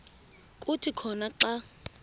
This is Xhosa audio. kuthi khona xa